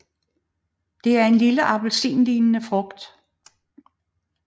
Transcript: Det er en lille appelsinlignende frugt